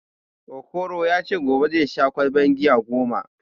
Okoro ya ce gobe zai sha ƙwalban giya goma